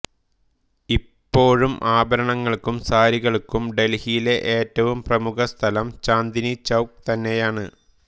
ഇപ്പോഴും ആഭരണങ്ങൾക്കും സാരികൾക്കും ഡെൽഹിയിലെ ഏറ്റവും പ്രമുഖസ്ഥലം ചാന്ദ്നി ചൌക് തന്നെയാണ്